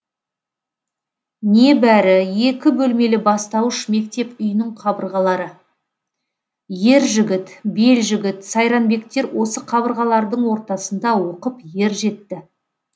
небәрі екі бөлмелі бастауыш мектеп үйінің қабырғалары ержігіт белжігіт сайранбектер осы қабырғалардың ортасында оқып ер жетті